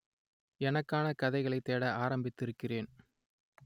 எனக்கான கதைகளை தேட ஆரம்பித்திருக்கிறேன்